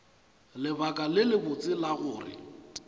lebaka le lebotse la gore